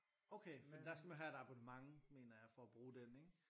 Okay fordi der skal man have et abonnement mener jeg for at bruge den ikke?